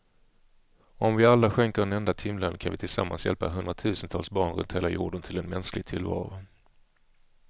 Om vi alla skänker en enda timlön kan vi tillsammans hjälpa hundratusentals barn runt hela jorden till en mänsklig tillvaro.